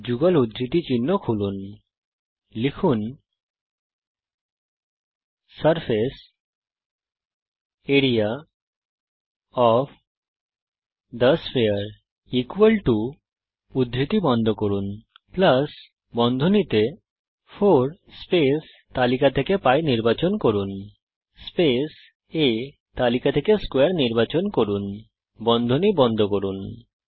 যুগল উদ্ধৃতি চিহ্ন খুলুন surface area of the sphere 4 π আ2 লিখুন যুগল উদ্ধৃতি চিহ্ন বন্ধ করুন প্লাস বন্ধনী খুলে 4 স্পেস তালিকা থেকে π নির্বাচন করুন স্পেস A তালিকা থেকে স্কোয়ারে নির্বাচন করুন বন্ধনী বন্ধ করুন